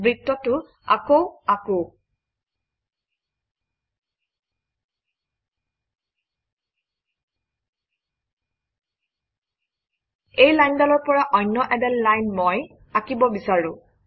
বৃত্তটো আকৌ আকোঁ এই লাইনডালৰ পৰা অন্য এডাল লাইন মই আঁকিব বিচাৰোঁ